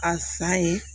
A sa ye